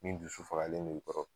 Ni n dusu fagalen do i kɔrɔ